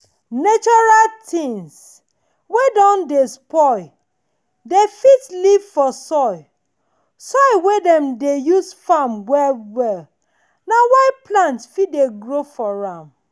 natural things wey don dey spoil dey fit live for soil soil wey dem dey use farm well well na why plant fit dey grow for am.